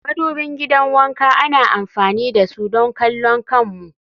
madubin gidan wanka ana amfani da su don kallon kanmu